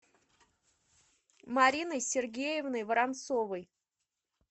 мариной сергеевной воронцовой